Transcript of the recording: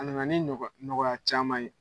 A na na ni ɲɔgɔ ɲɔgɔya caman ye.